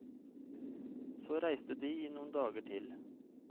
Så reiste de i noen dager til.